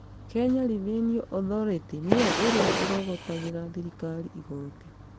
Kenya Revenue Authority nĩyo ĩrĩa ĩrogotagĩra thirikari igooti